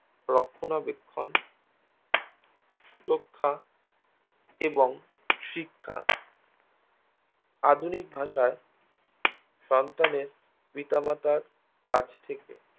রক্ষনাবেক্ষন সুরক্ষা এবং শিক্ষা আধুনিক ভাষায় সন্তানের পিত মাতার কাছ থেকে